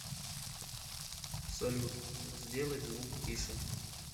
салют сделать звук тише